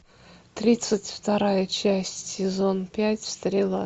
тридцать вторая часть сезон пять стрела